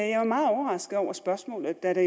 jeg var meget overrasket over spørgsmålet da det